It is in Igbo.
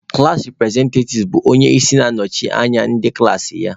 Klaasị representative bụ onye isi na na-anọchite anya ndị klaasị ya